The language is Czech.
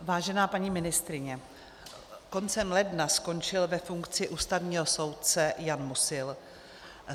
Vážená paní ministryně, koncem ledna skončil ve funkci ústavního soudce Jan Musil.